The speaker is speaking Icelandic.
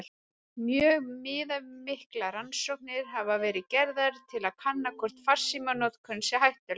Mjög viðamiklar rannsóknir hafa verið gerðar til að kanna hvort farsímanotkun sé hættuleg.